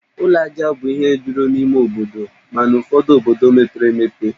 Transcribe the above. Ụlọ ajá bụ ihe juru n'ime obodo, mana ụfọdu obodo mepere emepe